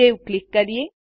save click કરીએ